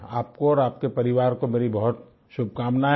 आपको और आपके परिवार को मेरी बहुत शुभकामनाएं हैं